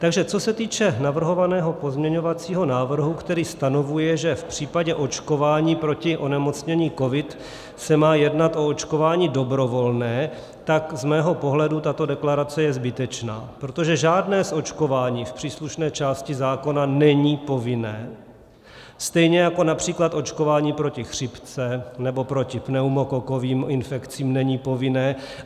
Takže co se týče navrhovaného pozměňovacího návrhu, který stanovuje, že v případě očkování proti onemocnění covid se má jednat o očkování dobrovolné, tak z mého pohledu tato deklarace je zbytečná, protože žádné očkování v příslušné části zákona není povinné, stejně jako například očkování proti chřipce nebo proti pneumokokovým infekcím není povinné.